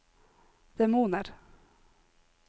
demoner